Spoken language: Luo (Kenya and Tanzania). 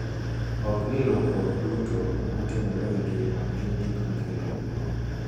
Ok ni lokruok duto ma timore e ngima gin gik ma kelo luoro: